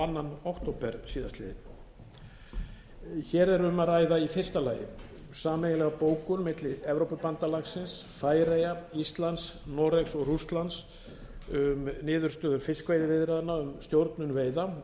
önnur október síðastliðinn hér er um að ræða í fyrsta lagi sameiginlega bókun milli evrópubandalagsins færeyja íslands noregs og rússlands um niðurstöður fiskveiðiviðræðna um stjórnun veiða